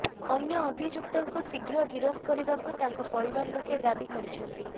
ଅନ୍ୟ ଅଭିଯୁକ୍ତଙ୍କୁ ଶୀଘ୍ର ଗିରଫ କରିବାକୁ ତାଙ୍କ ପରିବାର ଲୋକେ ଦାବି କରିଛନ୍ତି